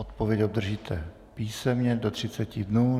Odpověď obdržíte písemně do 30 dnů.